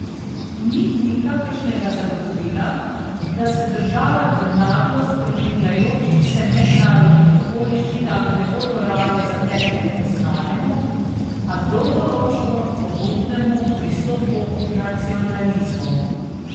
Ni nikakršnega zagotovila, da se države v naglo spreminjajočih se mednarodnih okoliščinah ne bodo raje zatekle k znanemu, a dolgoročno pogubnemu pristopu nacionalizmov.